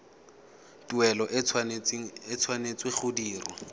tuelo e tshwanetse go dirwa